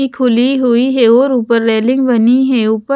खुली हुई है और ऊपर रेलिंग बनी है। ऊपर--